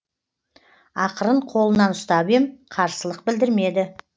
ақырын қолынан ұстап ем қарсылық білдірмеді